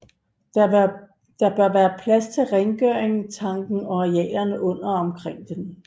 Der bør være plads til rengøring tanken og arealerne under og omkring den